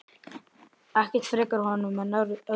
Ekkert frekar honum en öðrum.